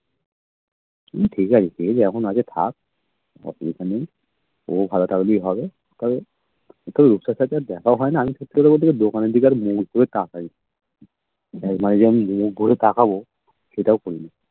কি ঠিক আছে যে যেরকমন আছে থাক আর দরকার নেই ও ভালো থাকলেই হবে তবে রূপসার সাথে তো আর দেখা হয় না আমি সত্যি কথা বলছি দোকানের দিকে আর মুখ ঘুরে তাকাই নাইলে আমি মুখ ঘুরে তাকাবো সেটাও করিনা